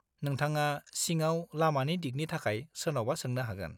नोंथाङा सिङाव लामानि दिगनि थाखाय सोरनावबा सोंनो हागोन।